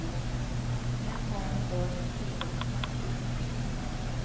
Än har han inte orkat fira.